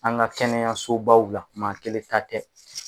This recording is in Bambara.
An ka kɛnɛyaso baw la maa kelen ta tɛ.